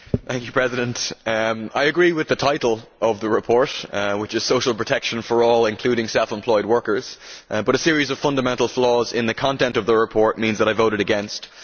Mr President, I agree with the title of the report, which is Social protection for all, including self employed workers', but a series of fundamental flaws in its content means that I voted against it.